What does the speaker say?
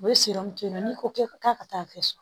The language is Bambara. U bɛ n'i ko k'e k'a ka taa fɛ so